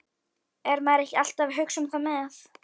Er maður ekki alltaf að hugsa það með?